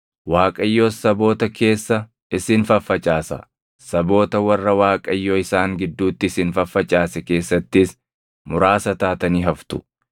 Waaqayyos saboota keessa isin faffacaasa; saboota warra Waaqayyo isaan gidduutti isin faffacaase keessattis muraasa taatanii haftu.